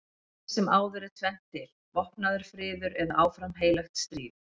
Eftir sem áður er tvennt til: vopnaður friður eða áfram heilagt stríð.